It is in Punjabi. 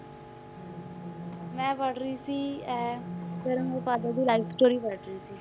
ਮੈਂ ਪੜ੍ਹ ਰਹੀ ਸੀ ਇਹ ਦੀ life story ਪੜ੍ਹ ਰਹੀ ਸੀ,